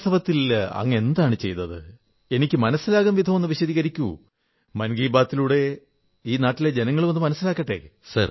വാസ്തവത്തിൽ അങ്ങ് എന്താണു ചെയ്തത് എനിക്കു മനസ്സിലാകും വിധമൊന്നു വിശദീകരിക്കു മൻ കീ ബാത്ലൂടെ ജനങ്ങൾക്കും മനസ്സിലാകട്ടെ